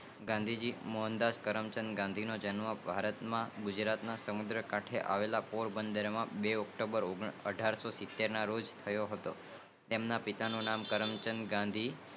ગાંધી મોહનદાસ ગાંધી નો જન્મ ગુજરાત નાસમુદ્ર ખાતે આવેલા પરિબળ બે ઓક્ટોબર અધર્ષોનેસિંતેરમાં થયો હતો તેમના પિતા નું નામ કરમચંદ ગાંધી